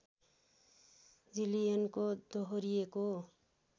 जिलियनको दोहोरिएको